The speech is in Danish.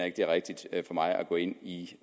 ikke det er rigtigt af mig at gå ind i